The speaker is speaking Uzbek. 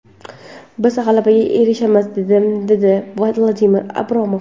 Biz g‘alabaga erishamiz”, – dedi Vadim Abramov.